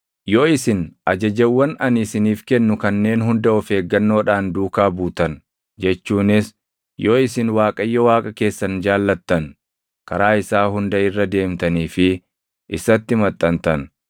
Yoo isin ajajawwan ani isiniif kennu kanneen hunda of eeggannoodhaan duukaa buutan jechuunis yoo isin Waaqayyo Waaqa keessan jaallattan, karaa isaa hunda irra deemtanii fi isatti maxxantan,